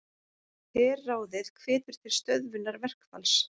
Herráðið hvetur til stöðvunar verkfalls